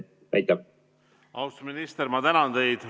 Austatud minister, ma tänan teid!